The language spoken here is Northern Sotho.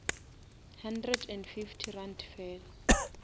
hundred and fifty rand fela